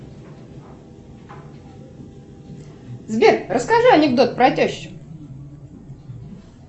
сбер расскажи анекдот про тещу